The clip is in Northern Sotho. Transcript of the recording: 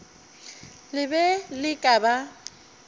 le be le ka ba